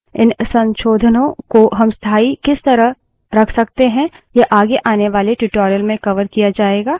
इन संशोधनों को हम स्थाई किस तरह रख सकते हैं यह आगे आने वाले tutorial में कवर किया जायेगा